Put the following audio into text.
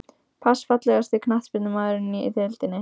Pass Fallegasti knattspyrnumaðurinn í deildinni?